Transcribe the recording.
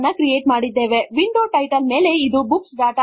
ಹಾಗಾಗಿ ಕೆಳಗಡೆ ಇರುವ ಫಿನಿಶ್ ಬಟನ್ ಮೇಲೆ ಕ್ಲಿಕ್ ಮಾಡಿ